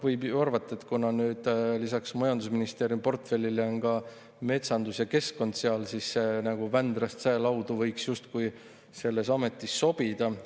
Võib ju arvata, et kuna nüüd lisaks majandusministri portfellile on ka metsandus ja keskkond seal, siis see "nagu Vändrast saelaudu" võiks justkui selles ametis sobida.